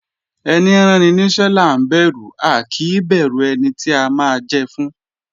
Ẹní ráni níṣẹ́ là ń bẹ̀rù a kì í bẹ̀rù ẹni a máa jẹ fún